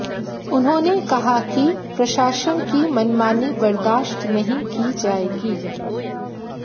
उन्होंने कहा कि प्रशासन की मनमानी बर्दाश्त नहीं की जाएगी